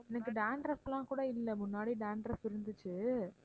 எனக்கு dandruff லாம் கூட இல்ல முன்னாடி dandruff இருந்துச்சு